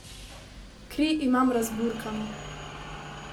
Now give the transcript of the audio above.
Kri imam razburkano.